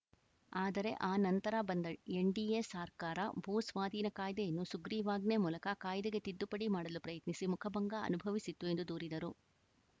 ಆದರೆ ಆ ನಂತರ ಬಂದ ಎನ್‌ಡಿಎ ಸರ್ಕಾರ ಭೂ ಸ್ವಾಧೀನ ಕಾಯ್ದೆಯನ್ನು ಸುಗ್ರಿವಾಜ್ಞೆ ಮೂಲಕ ಕಾಯ್ದೆಗೆ ತಿದ್ದುಪಡಿ ಮಾಡಲು ಪ್ರಯತ್ನಿಸಿ ಮುಖಭಂಗ ಅನುಭವಿಸಿತ್ತು ಎಂದು ದೂರಿದರು